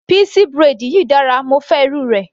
Pixie braid yìí dára, mo fẹ́ irú rẹ̀.